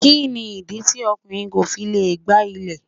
Kí ni ìdí tí ọkùnrin ko fi lè gbá ilé.